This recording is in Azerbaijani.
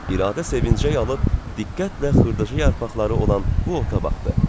İradə sevincəyə alıb diqqətlə xırdacı yarpaqları olan bu ota baxdı.